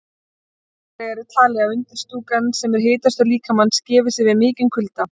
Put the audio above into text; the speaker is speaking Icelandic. Annars vegar er talið að undirstúkan, sem er hitastöð líkamans, gefi sig við mikinn kulda.